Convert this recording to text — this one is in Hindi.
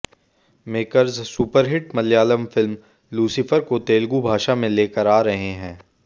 makers superhit Malayalam film Lucifer को तेलुगू भाषा में लेकर आ रहे हैं